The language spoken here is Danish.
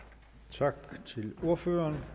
tak til ordføreren